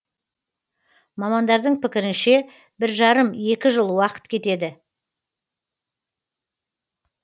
мамандардың пікірінше бір жарым екі жыл уақыт кетеді